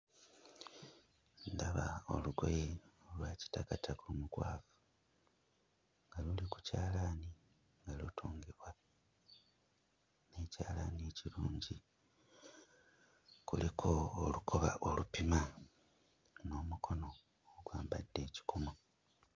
Ndaba olugoye olwa kitakataka omukwafu nga luli ku kyalaani nga lutungibwa n'ekyalaani ekirungi. Kuliko olukoba olupima n'omukono ogwambadde ekikomo.